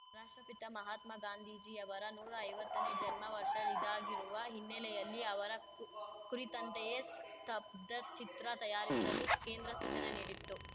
ರಾಷ್ಟ್ರಪಿತ ಮಹಾತ್ಮ ಗಾಂಧೀಜಿ ಅವರ ನೂರೈವತ್ತನೇ ಜನ್ಮ ವರ್ಷ ಇದಾಗಿರುವ ಹಿನ್ನೆಲೆಯಲ್ಲಿ ಅವರ ಕು ಕುರಿತಂತೆಯೇ ಸ್ತಬ್ಧಚಿತ್ರ ತಯಾರಿಸಲು ಕೇಂದ್ರ ಸೂಚನೆ ನೀಡಿತ್ತು